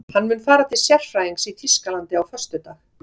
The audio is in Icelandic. Hann mun fara til sérfræðings í Þýskalandi á föstudag.